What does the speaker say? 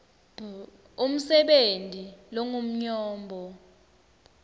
b umsebenti longumnyombo